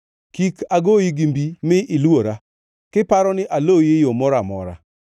Kik agoyi gi mbi mi iluora, kiparo ni aloyi e yo moro amora.